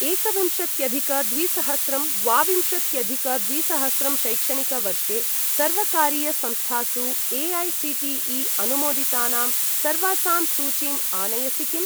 एकविंशत्यधिक द्विसहस्रं द्वाविंशत्यधिक द्विसहस्रं शैक्षणिकवर्षे सर्वकारीयसंस्थासु ए.ऐ.सी.टी.ई. अनुमोदितानां सर्वासाम् सूचीम् आनयसि किम्?